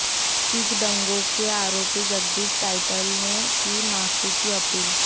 सिख दंगों के आरोपी जगदीश टाइटलर ने की माफी की अपील